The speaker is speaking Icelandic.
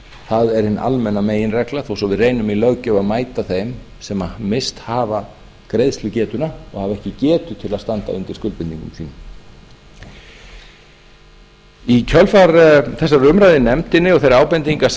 það er hin almenna meginregla þó svo við reynum í löggjöf að mæta þeim sem misst hafa greiðslugetuna og hafa ekki getu til að standa undir skuldbindingum sínum í kjölfar þessarar umræðu í nefndinni og þeirra ábendinga sem